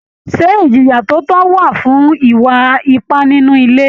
Ṣé ìjìyà tó tó wà fún ìwà ipà nínú ilé?